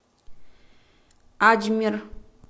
аджмер